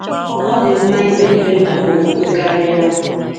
Ọ dị mma ịkpe ekpere maka okwukwe karịa.